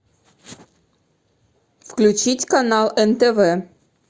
включить канал нтв